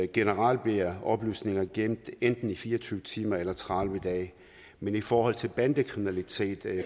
generelt bliver oplysninger gemt enten i fire og tyve timer eller i tredive dage men i forhold til bandekriminalitet